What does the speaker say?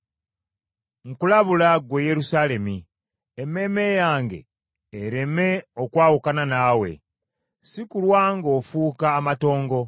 Nkulabula, ggwe Yerusaalemi, emmeeme yange ereme okwawukana naawe, si kulwa ng’ofuuka amatongo.”